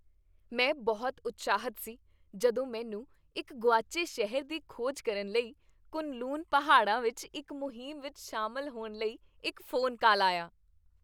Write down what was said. ਮੈਂ ਬਹੁਤ ਉਤਸ਼ਾਹਿਤ ਸੀ ਜਦੋਂ ਮੈਨੂੰ ਇੱਕ ਗੁਆਚੇ ਸ਼ਹਿਰ ਦੀ ਖੋਜ ਕਰਨ ਲਈ ਕੁਨ ਲੂਨ ਪਹਾੜਾਂ ਵਿੱਚ ਇੱਕ ਮੁਹਿੰਮ ਵਿੱਚ ਸ਼ਾਮਲ ਹੋਣ ਲਈ ਇੱਕ ਫ਼ੋਨ ਕਾਲ ਆਇਆ